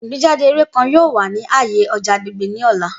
Igbejade eré kan yoo wa ni aaye ọja agbegbe ni ọla.